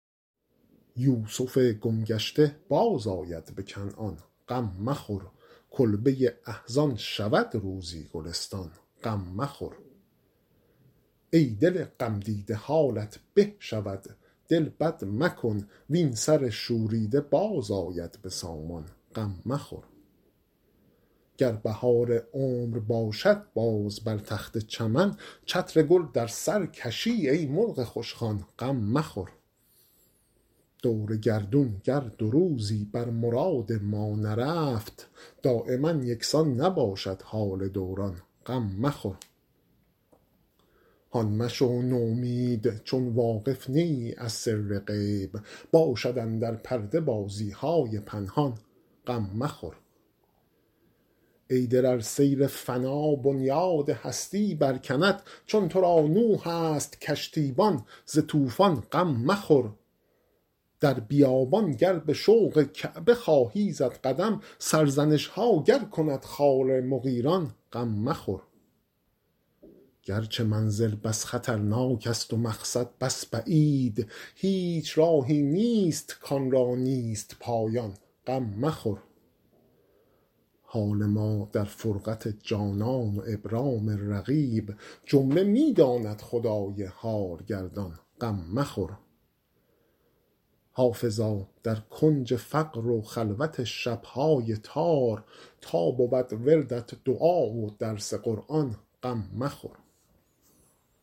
یوسف گم گشته بازآید به کنعان غم مخور کلبه احزان شود روزی گلستان غم مخور ای دل غمدیده حالت به شود دل بد مکن وین سر شوریده باز آید به سامان غم مخور گر بهار عمر باشد باز بر تخت چمن چتر گل در سر کشی ای مرغ خوشخوان غم مخور دور گردون گر دو روزی بر مراد ما نرفت دایما یکسان نباشد حال دوران غم مخور هان مشو نومید چون واقف نه ای از سر غیب باشد اندر پرده بازی های پنهان غم مخور ای دل ار سیل فنا بنیاد هستی برکند چون تو را نوح است کشتیبان ز طوفان غم مخور در بیابان گر به شوق کعبه خواهی زد قدم سرزنش ها گر کند خار مغیلان غم مخور گرچه منزل بس خطرناک است و مقصد بس بعید هیچ راهی نیست کآن را نیست پایان غم مخور حال ما در فرقت جانان و ابرام رقیب جمله می داند خدای حال گردان غم مخور حافظا در کنج فقر و خلوت شب های تار تا بود وردت دعا و درس قرآن غم مخور